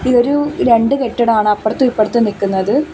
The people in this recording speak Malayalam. ഒരു രണ്ട് കെട്ടിടമാണ് അപ്പുറത്തും ഇപ്പുറത്തും നിക്കുന്നത്.